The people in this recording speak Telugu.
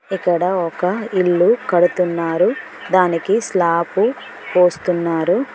ఇక్కడ ఒక ఇల్లు కడుతున్నారు దానికి స్లాబ్ పోస్తున్నారు.